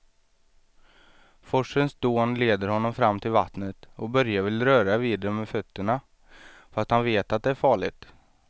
Forsens dån leder honom fram till vattnet och Börje vill röra vid det med fötterna, fast han vet att det är farligt.